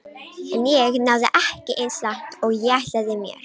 En ég náði ekki eins langt og ég ætlaði mér.